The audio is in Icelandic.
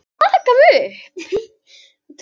Þyrftum að vera komnir í bæinn eftir klukkutíma.